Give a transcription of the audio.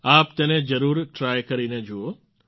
આપ તેને જરૂર ટ્રાય કરીને જુઓ